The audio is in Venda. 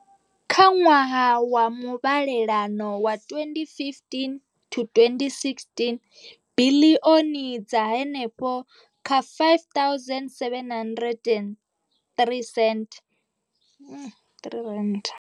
Kha ṅwaha wa muvhalelano wa 2015 to 2016, biḽioni dza henefha kha R5 703 dzo ṋetshedzwa mbekanyamushumo iyi.